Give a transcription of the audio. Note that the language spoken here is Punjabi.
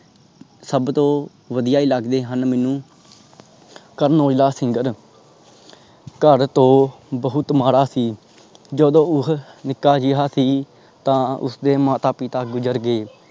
ਸਬ ਤੋਂ ਵਧੀਆ ਹੀ ਲੱਗਦੇ ਹਨ ਮੈਨੂੰ ਕਰਨ ਔਜਲਾ SINGER ਘਰ ਤੋਂ ਬਹੁਤ ਮਾੜਾ ਸੀ। ਜਦੋ ਉਹ ਨਿਕ ਜਿਹਾ ਸੀ। ਤਾਂ ਉਸਦੇ ਮਾਤਾ ਪਿਤਾ ਗੁਜਰ ਗਏ।